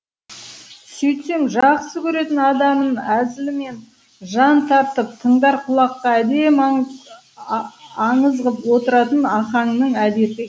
сөйтсем жақсы көретін адамын әзілмен жан тартып тыңдар құлаққа әдемі аңыз ғып отыратын ахаңның әдеті